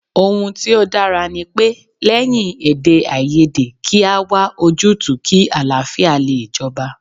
Ohun tí ó dára ní pé ,lẹ́yìn èdèàìyedè kí a wá ojútùú kí àlàáfíà lè jọba